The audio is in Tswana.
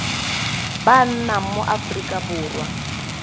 ba nnang mo aforika borwa